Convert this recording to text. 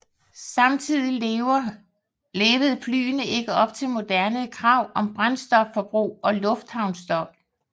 Samtidigt levede flyene ikke op til moderne krav om brændstofforbrug og lufthavnsstøj